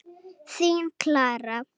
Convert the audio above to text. Þín Klara.